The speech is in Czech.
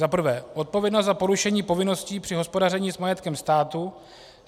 Za prvé, odpovědnost za porušení povinností při hospodaření s majetkem státu.